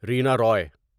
Raina Ravi